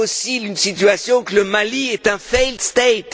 avez aussi une situation où le Mali est un fail state